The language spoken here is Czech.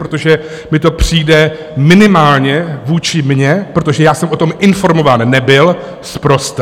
Protože mi to přijde minimálně vůči mně, protože já jsem o tom informován nebyl, sprosté.